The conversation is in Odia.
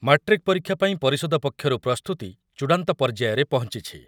ମାଟ୍ରିକ୍ ପରୀକ୍ଷା ପାଇଁ ପରିଷଦ ପକ୍ଷରୁ ପ୍ରସ୍ତୁତି ଚୂଡ଼ାନ୍ତ ପର୍ଯ୍ୟାୟରେ ପହଞ୍ଚୁଛି ।